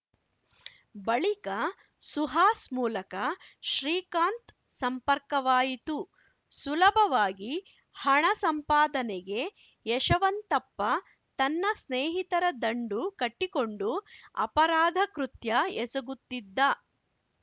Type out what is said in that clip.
ಬಳಿಕ ಸುಹಾಸ್‌ ಮೂಲಕ ಶ್ರೀಕಾಂತ್‌ ಸಂಪರ್ಕವಾಯಿತು ಸುಲಭವಾಗಿ ಹಣ ಸಂಪಾದನೆಗೆ ಯಶವಂತಪ್ಪ ತನ್ನ ಸ್ನೇಹಿತರ ದಂಡು ಕಟ್ಟಿಕೊಂಡು ಅಪರಾಧ ಕೃತ್ಯ ಎಸಗುತ್ತಿದ್ದ